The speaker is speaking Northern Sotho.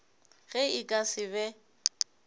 ge e ka se be